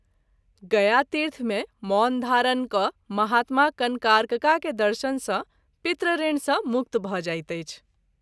गयातीर्थ मे मौन धारण क’ महात्मा कनकार्कका के दर्शन सँ पितृऋण सँ मुक्त भ’ जाइत अछि।